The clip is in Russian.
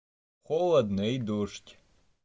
холодно и дождь